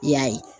I y'a ye